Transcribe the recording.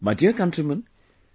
My dear countrymen,